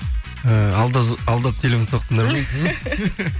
і алдап телефон соқтыңдар ма